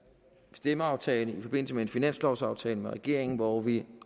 stemmeaftale i forbindelse med en finanslovsaftale med regeringen hvor vi